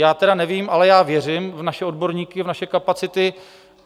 Já tedy nevím, ale já věřím v naše odborníky, v naše kapacity.